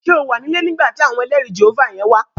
Ṣé o wà ní ilé nígbà tí àwọn ẹlẹrìí Jèhófà yẹn wá?